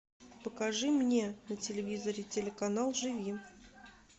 покажи мне на телевизоре телеканал живи